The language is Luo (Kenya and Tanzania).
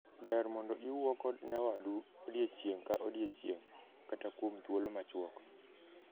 Ber mondo iwuo kod nyawadu odiechieng’ ka odiechieng, kata kuom thuolo machuok.